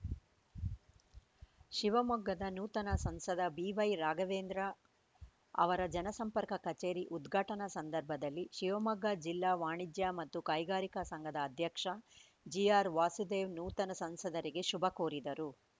ಶಿವಮೊಗ್ಗದ ನೂತನ ಸಂಸದ ಬಿವೈ ರಾಘವೇಂದ್ರ ಅವರ ಜನಸಂಪರ್ಕ ಕಚೇರಿ ಉದ್ಘಾಟನ ಸಂದರ್ಭದಲ್ಲಿ ಶಿವಮೊಗ್ಗ ಜಿಲ್ಲಾ ವಾಣಿಜ್ಯ ಮತ್ತು ಕೈಗಾರಿಕಾ ಸಂಘದ ಅಧ್ಯಕ್ಷ ಜಿಆರ್‌ ವಾಸುದೇವ್‌ ನೂತನ ಸಂಸದರಿಗೆ ಶುಭ ಕೋರಿದರು